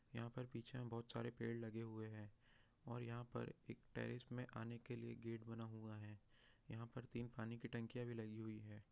यहाँ पर पीछे बहुत सारे पेड़ लगे हुए है और यहा पर एक टेरेस में आने के लिए गेट बना हुआ है यहाँ पर तीन पानी की टंकीया भी लगी हुई हैं।